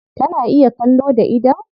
Tana iya kallo da idon?